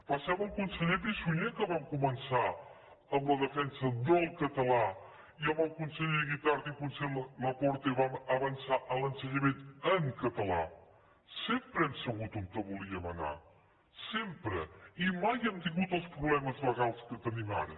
va ser amb al conseller pi i sunyer que vam començar amb la defensa del català i amb el conseller guitart i conseller laporte vam avançar en l’ensenyament ensabut on volíem anar sempre i mai hem tingut els problemes legals que tenim ara